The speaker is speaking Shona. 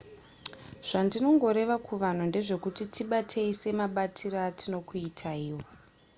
zvandinongoreva kuvanhu ndezvekuti tibatei semabatiro atinokuitaiwo